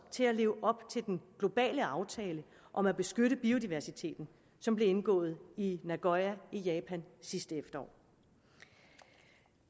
til at leve op til den globale aftale om at beskytte biodiversiteten som blev indgået i nagoya i japan sidste efterår